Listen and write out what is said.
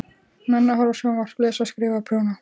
Menn að horfa á sjónvarp, lesa, skrifa, prjóna.